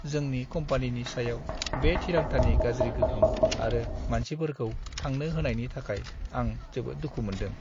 जोंनि कम्पानिनि सायाव बे थिरांथानि गाज्रि गोहोम आरो मानसिफोरखौ थांनो होनायनि थाखाय आं जोबोद दुखु मोन्दों।